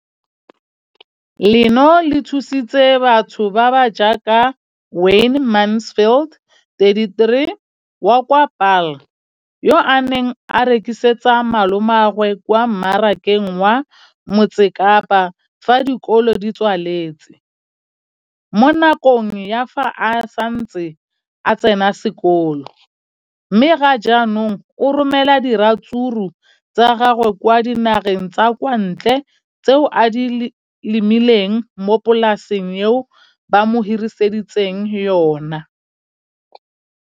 leno le thusitse batho ba ba jaaka Wayne Mansfield, 33, wa kwa Paarl, yo a neng a rekisetsa malomagwe kwa Marakeng wa Motsekapa fa dikolo di tswaletse, mo nakong ya fa a ne a santse a tsena sekolo, mme ga jaanong o romela diratsuru tsa gagwe kwa dinageng tsa kwa ntle tseo a di lemileng mo polaseng eo ba mo hiriseditseng yona.